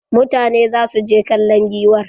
Mutane za su je kallon giwar.